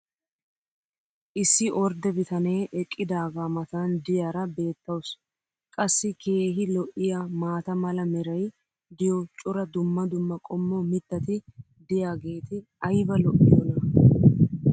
issi ordde bitanee eqqidaagaa matan diyaara beetawusu. qassi keehi lo'iyaa maata mala meray diyo cora dumma dumma qommo mitati diyaageti ayba lo'iyoonaa?